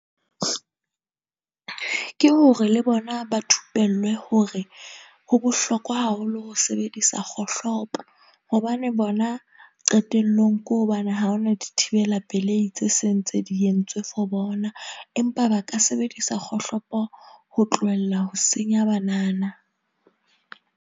Ke hore le bona ba thupellwe hore ho bohlokwa haholo ho sebedisa kgohlopo hobane bona qetellong ko hobane, ha hona dithibela pelei tse seng tse di entswe for bona, empa ba ka sebedisa kgohlopo ho tlohella ho senya banana.